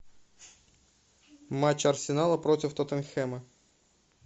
матч арсенала против тоттенхэма